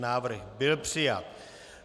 Návrh byl přijat.